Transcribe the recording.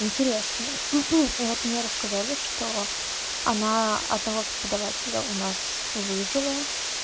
интересно и вот мне рассказали что она одного преподавателя у нас выжила